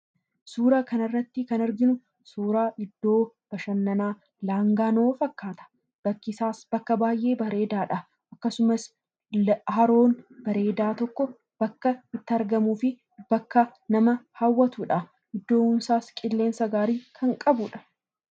Suuraa kana irratti kan arginu, suura iddoo bashannanaa laangaanoo fakkaata. Bakki isaas baayyee bareedaadha. akkasumas haroon bareedaan tokko bakka itti argamuu fi bakka nama hawwatudha. Iddoon isaas qilleensa gaarii kan qabudha.